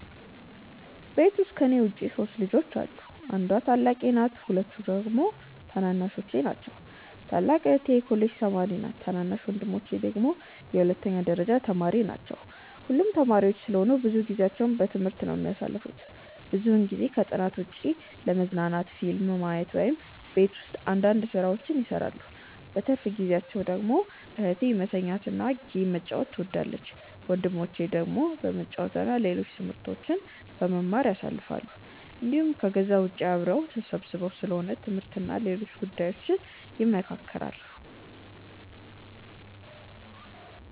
ቤት ውስጥ ከኔ ውጪ 3 ልጆች አሉ። አንዷ ታላቄ ናት ሁለቱ ደግሞ ታናናሾቼ ናቸው። ታላቅ እህቴ የኮሌጅ ተማሪ ነች ታናናሽ ወንድሞቼ ደግሞ የሁለተኛ ደረጃ ተማሪዎች ናቸው። ሁሉም ተማሪዎች ስለሆኑ ብዙ ጊዜአቸውን በትምህርት ነው የሚያሳልፉት። ብዙውን ጊዜ ከጥናት ውጪ ለመዝናናት ፊልም ማየት እና ቤት ውስጥ አንዳንድ ስራዎችን ይሰራሉ። በትርፍ ጊዜአቸው ደግሞ እህቴ መተኛት እና ጌም መጫወት ትወዳለች። ወንድሞቼ ደግሞ በመጫወት እና ሌሎች ትምህርቶችን በመማር ያሳልፋሉ እንዲሁም ከዛ ውጪ አብረው ተሰብስበው ስለ ትምህርት እና ሌሎች ጉዳዮች ይመካከራሉ።